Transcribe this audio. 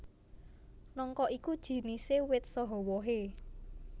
Nangka iku jinisé wit saha wohé